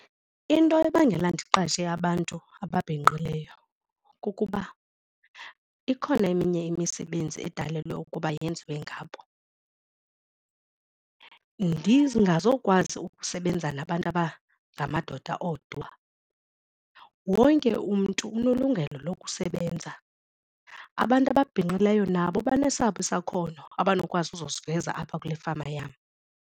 Into ebangela ndiqeshe abantu ababhinqileyo kukuba ikhona eminye imisebenzi edalelwe ukuba yenziwe ngabo, ndingazokwazi ukusebenza nabantu abangamadoda odwa. Wonke umntu unelungelo lokusebenza, abantu ababhinqileyo nabo banesabo isakhono abanokwazi uza siveza apha kule fama yam.